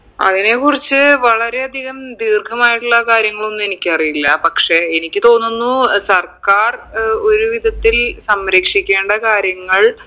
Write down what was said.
അതിനെ കുറിച്ച് വളരെ അധികം ദീർഘമായിട്ടുള്ള കാര്യങ്ങളൊന്നും എനിക്കറിയില്ല പക്ഷെ എനിക്ക് തോന്നുന്നു ഏർ സർക്കാർ ഏർ ഒരു വിധത്തിൽ സംരക്ഷിക്കേണ്ട കാര്യങ്ങൾ